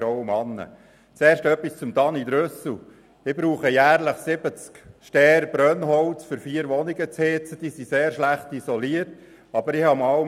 Dann musste ich die Gewässerschutzvorschriften erfüllen und eine neue Jauchegrube bauen.